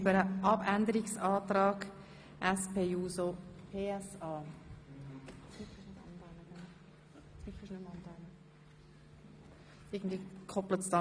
Wer den Abänderungsantrag SP-JUSO-PSA annimmt, stimmt ja, wer ihn ablehnt, stimmt nein.